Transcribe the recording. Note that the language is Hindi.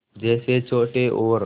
जैसे छोटे और